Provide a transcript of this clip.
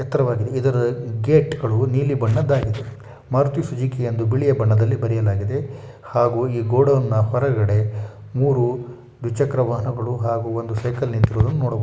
ಎತ್ತರವಾಗಿದೆ ಇದರ ಗೇಟ್ ಗಳು ನೀಲಿ ಬಣ್ಣದಾಗಿದೆ ಮಾರುತಿ ಸುಜುಕಿ ಎಂದು ಬಿಳಿಯ ಬಣ್ಣದಲ್ಲಿ ಬರೆಯಲಾಗಿದೆ ಹಾಗೂ ಈ ಗೋಡನ್ನ ಹೊರಗಡೆ ಮೂರು ದ್ವಿಚಕ್ರ ವಾಹನಗಳು ಹಾಗೂ ಒಂದು ಸೈಕಲ್ ನಿಂತಿರುವುದನ್ನು ನೋಡಬಹುದು.